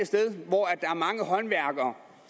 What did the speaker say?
sted hvor der er mange håndværkere